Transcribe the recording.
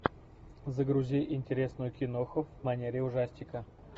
загрузи интересную киноху в манере ужастика